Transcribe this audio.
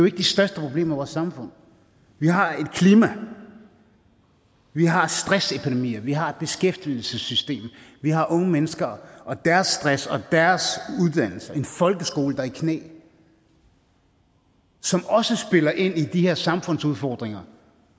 ikke de største problemer samfund vi har et klima vi har stressepidemier vi har et beskæftigelsessystem vi har unge mennesker og deres stress og deres uddannelse en folkeskole der er i knæ som også spiller ind i de her samfundsudfordringer